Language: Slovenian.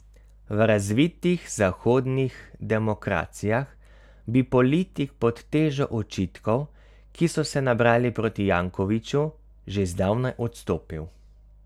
V razvitih zahodnih demokracijah bi politik pod težo očitkov, ki so se nabrali proti Jankoviću, že zdavnaj odstopil.